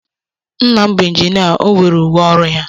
Nna m bụ injinia, o nwere uwe ọrụ ya.